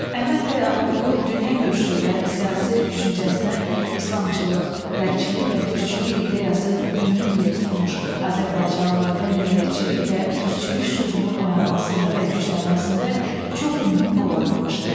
Əhməd bəy Ağaoğlu dünya görüşü və siyasi düşüncəsinə islamçılıq, qərbçilik və türkçülük ideyası mühüm yer tutmuş, azərbaycanlılarda millətçilik və türkçülük şüurunun oyanmasında və güclənməsində çox mühüm rol oynamışdı.